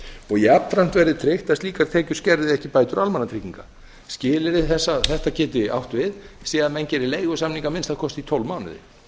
og jafnframt verði tryggt að slíkar tekjur skerði ekki bætur almannatrygginga skilyrði þess að þetta geti átt við sé að menn geri leigusamning í að minnsta kosti í tólf mánuði